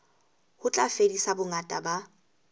ho tla fedisa bongata ba